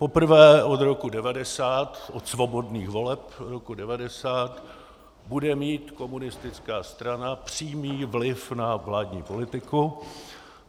Poprvé od roku 1990, od svobodných voleb roku 1990, bude mít komunistická strana přímý vliv na vládní politiku.